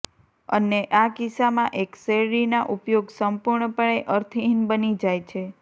અને આ કિસ્સામાં એક શેરડીના ઉપયોગ સંપૂર્ણપણે અર્થહીન બની જાય છે